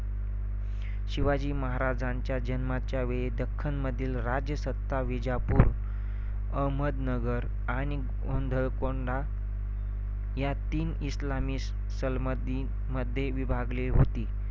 शिवाजी महाराजांच्या जन्माच्या वेळी दख्खनमधील राजसत्ता विजापूर, अहमदनगर आणि गोवळकोंडा या तीन इस्लामी सल्मधी~ मध्ये विभागली होती.